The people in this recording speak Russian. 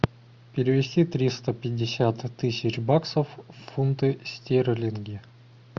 перевести триста пятьдесят тысяч баксов в фунты стерлинги